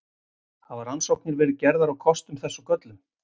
Hafa rannsóknir verið gerðar á kostum þess og göllum?